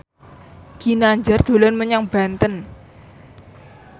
Ginanjar dolan menyang Banten